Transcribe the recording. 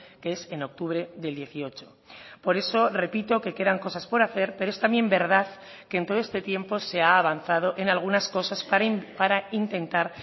que es en octubre del dieciocho por eso repito que quedan cosas por hacer pero es también verdad que en todo este tiempo se ha avanzado en algunas cosas para intentar